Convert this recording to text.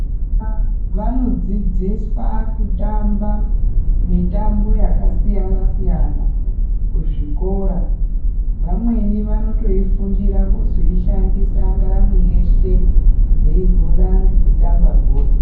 Vana vanodzidziswa kutamba mitambo yakasiyana siyana kuzvikora vamweni vanotoifundira vozoishandisa ndaramo yeshe vehora ngekutamba bhora.